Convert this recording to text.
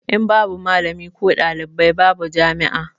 In babu malami ko ɗalibi babu jami'a